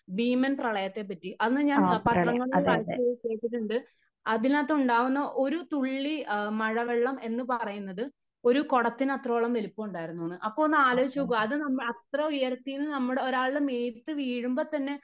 ഭീമൻ പ്രളയത്തെ പറ്റി അന്ന് ഞാൻ പത്രങ്ങളിൽ വായിച്ച് കേട്ടിട്ടുണ്ട് അതിനകത്ത് ഉണ്ടാകുന്ന ഒരു തുള്ളി മഴ വെള്ളം എന്ന് പറയുന്നത് ഒരു കുടത്തിനത്രയും വലിപ്പം ഉണ്ടായിരുന്നു എന്ന് . അപ്പോ ഒന്ന് ആലോചിച്ചു നോക്കൂ അത് നമ്മുടെ അത്രേം ഉയരത്തില് നിന്നു ഒരാളുടെ മേത്ത് വീഴുമ്പോ തന്നെ